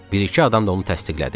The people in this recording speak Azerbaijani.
Bir-iki adam da onu təsdiqlədi.